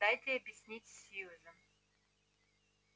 дайте объяснить сьюзен